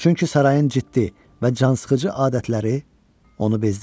Çünki sarayın ciddi və cansıxıcı adətləri onu bezdirmişdi.